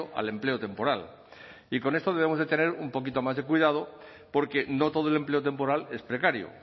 al empleo temporal y con esto debemos de tener un poquito más de cuidado porque no todo el empleo temporal es precario